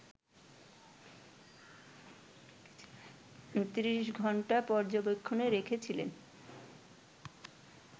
৩০ ঘণ্টা পর্যবেক্ষণে রেখেছিলেন